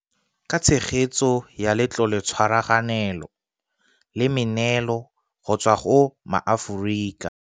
Ka tshegetso ya Letloletshwa raganelo le meneelo go tswa go maAforika